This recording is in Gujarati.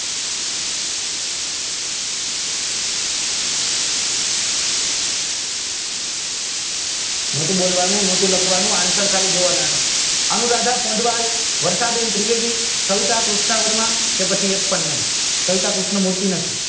નોતું બોલવાનું નોતું લખવાનું answer ખાલી જોવાના હતા આનો આધાર વરસાદી ત્રિવેદી કે પછી એક પણ નહિ કલતા કૃષ્ણ મૂર્તિ નથી